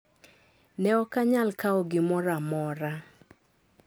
Ne ok anyal kawo gimoro amora.